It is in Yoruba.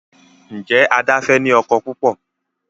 Njé Ada fè ní ọkọ púpọ?